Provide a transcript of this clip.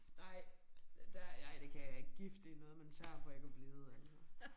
Nej der ej det kan jeg ikke. Gift det noget man tager for ikke at blive altså